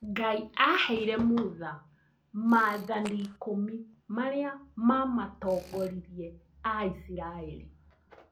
Ngai aheire mutha maathani ikũmi marĩa mamatongoririe aisiraeli